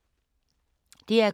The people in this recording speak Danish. DR K